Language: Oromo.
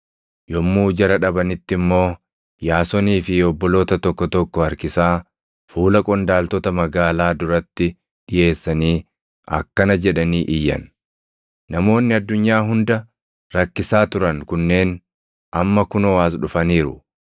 Yommuu jara dhabanitti immoo Yaasonii fi obboloota tokko tokko harkisaa fuula qondaaltota magaalaa duratti dhiʼeessanii akkana jedhanii iyyan; “Namoonni addunyaa hunda rakkisaa turan kunneen amma kunoo as dhufaniiru;